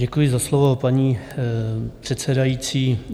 Děkuji za slovo, paní předsedající.